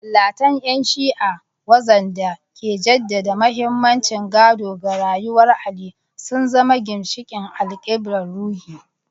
Masallatan ‘yan Shi’a, waxanda ke jaddada mahimmancin gado da koyarwar Ali, sun zama ginshiqin alkiblar ruhi.